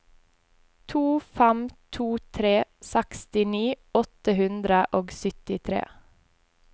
to fem to tre sekstini åtte hundre og syttitre